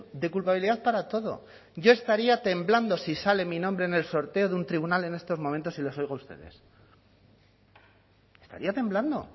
de culpabilidad para todo yo estaría temblando si sale mi nombre en el sorteo de un tribunal en estos momentos y les oigo a ustedes estaría temblando